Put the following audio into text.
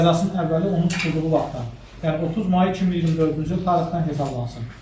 Cəzasının əvvəli onun tutulduğu vaxtdan, yəni 30 may 2024-cü il tarixdən hesablansın.